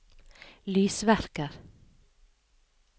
lysverker